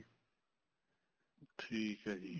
ਠੀਕ ਹੈ ਜੀ